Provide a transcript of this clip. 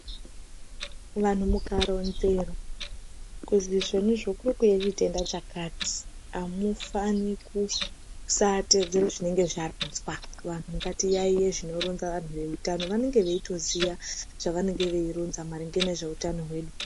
Vanhu mukaronzerwa kuti zvoni izvo kuri kuuya chitenda chakati Amufani kusatedzera zvinenge zvavhunzwa ngatiyaiye zvinoronza nezvehutano vanenge veitoziva zvinenge zveironzwa nehutano hwedu.